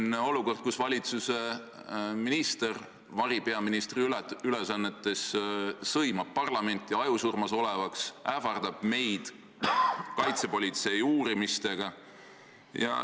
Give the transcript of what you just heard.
Meil on olukord, kus valitsuse minister variministri ülesannetes sõimab parlamenti, nimetab teda ajusurmas olevaks, ähvardab meid kaitsepolitsei uurimistega.